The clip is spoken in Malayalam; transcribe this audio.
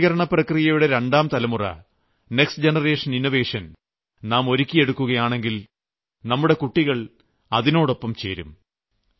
നവീകരണപ്രക്രിയയുടെ രണ്ടാം തലമുറ നെക്സ്റ്റ് ജനറേഷൻ ഇന്നോവേഷൻ നാം ഒരുക്കിയെടുക്കുകയാണെങ്കിൽ നമ്മുടെ കുട്ടികൾ അതിനോടൊപ്പം ചേരും